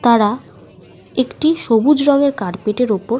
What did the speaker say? তারা একটি সবুজ রঙের কার্পেটের ওপর --